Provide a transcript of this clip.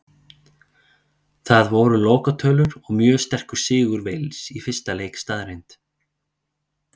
Það voru lokatölur og mjög sterkur sigur Wales í fyrsta leik staðreynd.